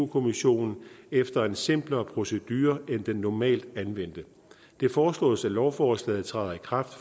kommissionen efter en simplere procedure end den normalt anvendte det foreslås at lovforslaget træder i kraft